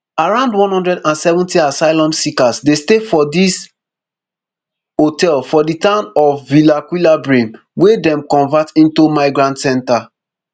around one hundred and seventy asylum seekers dey stay for dis hotel for di town of villaquilambre wey dem convert into migrant centre